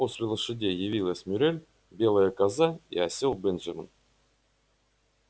после лошадей явилась мюриель белая коза и осел бенджамин